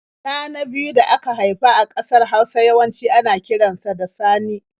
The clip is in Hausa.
Ɗa na biyu da aka haifa a ƙasar Hausa yawanci ana kiran sa da Sani.